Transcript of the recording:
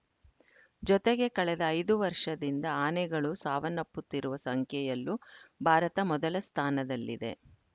ಜೊತೆಗೆ ಕಳೆದ ಐದು ವರ್ಷದಿಂದ ಆನೆಗಳು ಸಾವನ್ನಪ್ಪುತ್ತಿರುವ ಸಂಖ್ಯೆಯಲ್ಲೂ ಭಾರತ ಮೊದಲ ಸ್ಥಾನದಲ್ಲಿದೆ